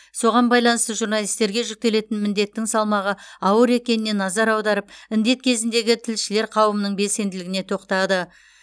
соған байланысты журналистерге жүктелетін міндеттің салмағы ауыр екеніне назар аударып індет кезіндегі тілшілер қауымының белсенділігіне тоқтады